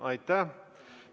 Aitäh!